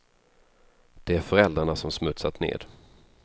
Det är föräldrarna som smutsat ned.